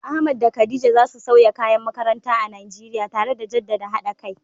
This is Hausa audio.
Ahmad da Khadija za su sauya kayan makaranta a Najeriya, tare da jaddada haɗa kai.